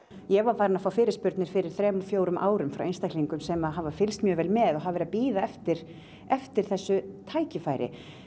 ég var farin að fá fyrirspurnir fyrir þremur fjórum árum frá einstaklingum sem hafa fylgst mjög vel með og hafa verið að bíða eftir eftir þessu tækifæri